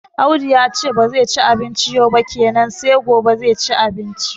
Audu yace ba zai ci abinci yau ba kenan sai gobe zai ci abinci